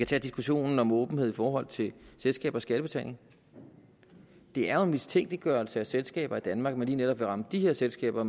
tage diskussionen om åbenhed i forhold til selskabers skattebetaling det er jo en mistænkeliggørelse af selskaber i danmark at man lige netop vil ramme de her selskaber